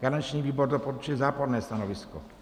Garanční výbor doporučuje záporné stanovisko.